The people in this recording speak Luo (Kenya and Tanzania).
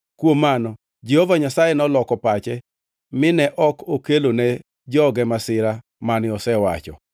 Kuom mano Jehova Nyasaye noloko pache mine ok okelone joge masira mane osewacho.